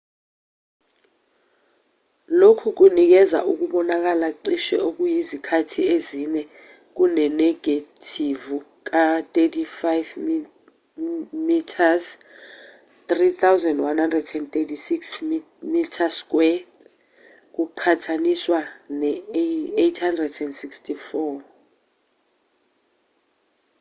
lokhu kunikeza ukubonakala cishe okuyizikhathi ezine kunenegethivu ka-35 mm 3136mm2 kuqhathaniswa ne-864